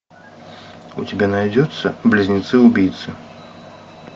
у тебя найдется близнецы убийцы